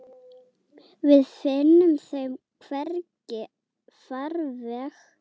Við finnum þeim hvergi farveg.